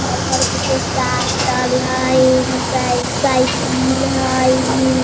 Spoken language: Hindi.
घर पर किछु साटल हई मोटर साई साइकिल हय ई।